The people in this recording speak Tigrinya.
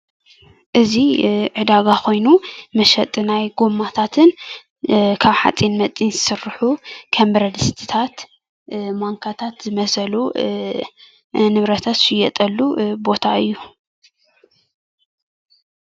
እዚ ዕዳጋ ኮይኑ መሸጢ ናይ ጎማታትን ካብ ሓፂን መፂን ዝስርሑ ከም ብረድስትታት ማንካታት ዝመሰሉ ንብረታት ዝሽየጠሉ ቦታ እዩ፡፡